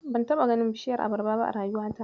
Ban taɓa ganin bishiyar abarba ba a rayuwata.